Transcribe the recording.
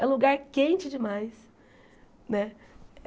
É lugar quente demais né.